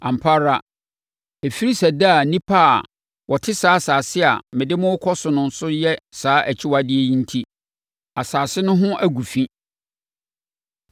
Ampa ara, ɛfiri sɛ daa nnipa a wɔte saa asase a mede mo rekɔ so no so yɛ saa akyiwadeɛ yi enti, asase no ho agu fi.